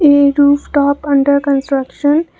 a roof top under construction.